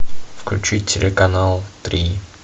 включи телеканал три